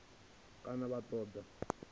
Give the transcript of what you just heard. kana vha ṱoḓa ḽi tshi